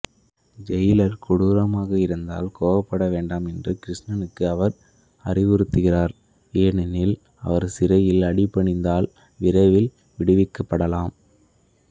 Jailer கொடூரமாக இருந்தால் கோபப்பட வேண்டாம் என்று கிருஷ்ணனுக்கு அவர் அறிவுறுத்துகிறார் ஏனெனில் அவர் சிறையில் அடிபணிந்தால் விரைவில் விடுவிக்கப்படலாம்